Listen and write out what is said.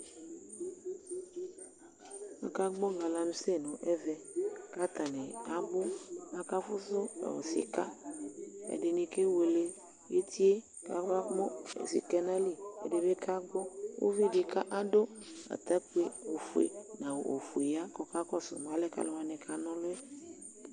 Aka gbɔ ɛfʊɛdɩ nʊ ɛmɛ, aluʊwanɩ abʊ, akafusu sika, ɛdɩnɩ kewele, eti yɛ, kamamʊ sika yɛ nʊ ayili, ɛdɩ bɩ kagbɔ, uvidɩ adʊ atakpi ofue nʊ awu ofue ya kakɔsʊ ma alɛnɛɛ kʊ atanɩ kana ɔlʊ yɛ